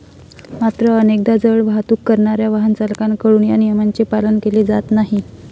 मात्र, अनेकदा जड वाहतूक करणाऱ्या वाहनचालकांकडून या नियमांचे पालन केले जात नाही.